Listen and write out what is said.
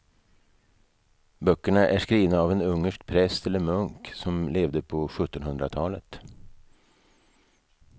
Böckerna är skrivna av en ungersk präst eller munk som levde på sjuttonhundratalet.